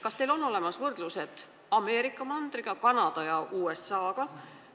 Kas teil on olemas võrdlused Ameerika mandriga, Kanada ja USA-ga?